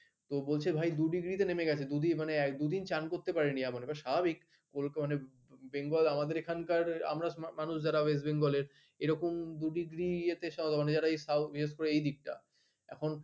কেউ বলছে ভাই দু degree তে নেমে গেছে দুদিন স্নান করতে পারিনি এমন স্বাভাবিক মানে bengal আমাদের এখানকার এখানে আমরা মানুষ যারা west bengal র এরকম দু ডিগ্রি ইয়ে তে এইদিক টা এখন